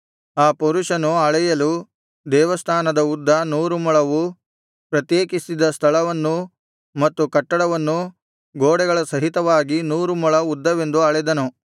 ಆ ಪುರುಷನು ಅಳೆಯಲು ದೇವಸ್ಥಾನದ ಉದ್ದ ನೂರು ಮೊಳವೂ ಪ್ರತ್ಯೇಕಿಸಿದ ಸ್ಥಳವನ್ನೂ ಮತ್ತು ಕಟ್ಟಡವನ್ನೂ ಗೋಡೆಗಳ ಸಹಿತವಾಗಿ ನೂರು ಮೊಳ ಉದ್ದವೆಂದು ಅಳೆದನು